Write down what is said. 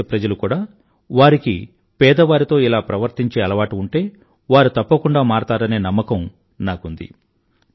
నా దేశప్రజలు కూడా వారికి పేదవారితో ఇలా ప్రవర్తించే అలవాటు ఉంటే వారు తప్పకుండా మారతారనే నమ్మకం నాకుంది